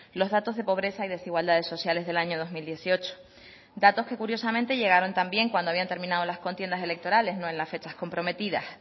los datos de pobreza y desigualdades sociales del año dos mil dieciocho datos que curiosamente llegaron también cuando habían terminado las contiendas electorales no en las fechas comprometidas